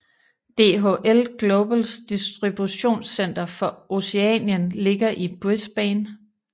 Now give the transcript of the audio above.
DHL Globals distributionscenter for Oceanien ligger i Brisbane